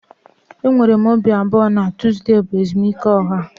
Enwere m obi abụọ na Tuzdee bụ ezumike ọha